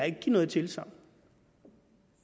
ikke give noget tilsagn